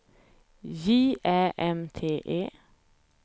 J Ä M T E